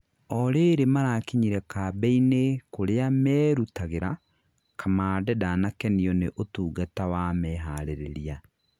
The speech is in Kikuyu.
orĩrĩ marakinyire kambĩ-inĩ kũria merũtagĩra, kamande ndanakenio nĩ ũtungata wa meharĩrĩria